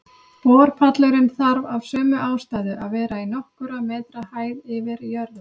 Borpallurinn þarf af sömu ástæðu að vera í nokkurra metra hæð yfir jörðu.